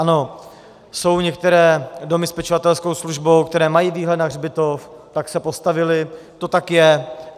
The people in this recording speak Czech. Ano, jsou některé domy s pečovatelskou službou, které mají výhled na hřbitov, tak se postavily, to tak je.